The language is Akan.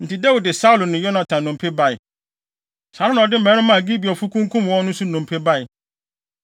Enti Dawid de Saulo ne Yonatan nnompe bae. Saa ara na ɔde mmarima a Gibeonfo kunkum wɔn no nso nnompe bae.